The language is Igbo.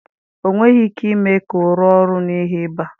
Ọ nweghị ike ime ka ọ rụọ ọrụ n'ihi ịba